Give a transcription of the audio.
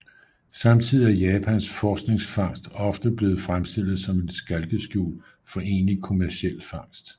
Samtidigt er Japans forskningsfangst ofte blevet fremstillet som et skalkeskjul for egentlig kommerciel fangst